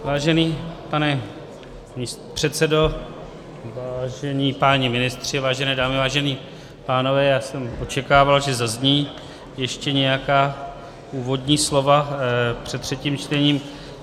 Vážený pane předsedo, vážení páni ministři, vážené dámy, vážení pánové, já jsem očekával, že zazní ještě nějaká úvodní slova před třetím čtením.